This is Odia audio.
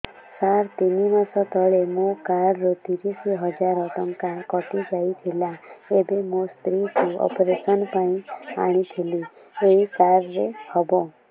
ସାର ତିନି ମାସ ତଳେ ମୋ କାର୍ଡ ରୁ ତିରିଶ ହଜାର ଟଙ୍କା କଟିଯାଇଥିଲା ଏବେ ମୋ ସ୍ତ୍ରୀ କୁ ଅପେରସନ ପାଇଁ ଆଣିଥିଲି ଏଇ କାର୍ଡ ରେ ହବ